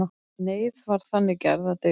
Neyð var þannig gerð að dygð.